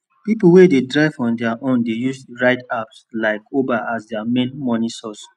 people wey dey drive on their own dey use ride apps like uber as their main money source